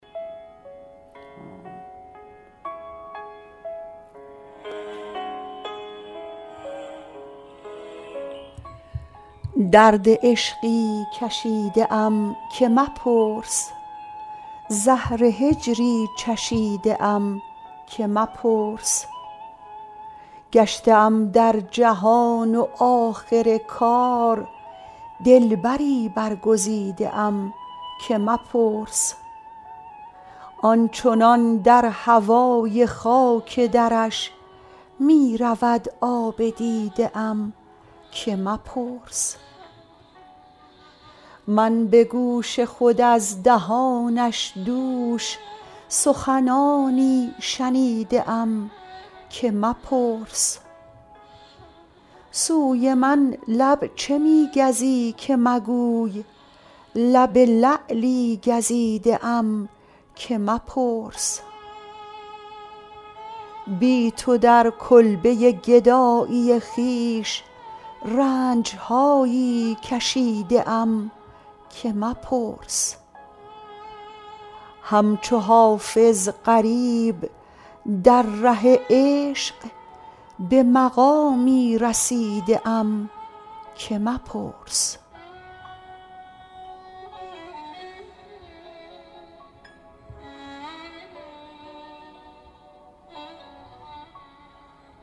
درد عشقی کشیده ام که مپرس زهر هجری چشیده ام که مپرس گشته ام در جهان و آخر کار دلبری برگزیده ام که مپرس آن چنان در هوای خاک درش می رود آب دیده ام که مپرس من به گوش خود از دهانش دوش سخنانی شنیده ام که مپرس سوی من لب چه می گزی که مگوی لب لعلی گزیده ام که مپرس بی تو در کلبه گدایی خویش رنج هایی کشیده ام که مپرس همچو حافظ غریب در ره عشق به مقامی رسیده ام که مپرس